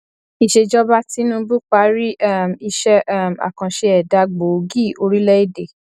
ìsèjọba tinubu parí um iṣẹ um akànṣe ẹdá gbòógì orílẹ èdè